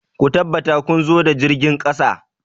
Ku tabbata kun zo ta jirgin ƙasa!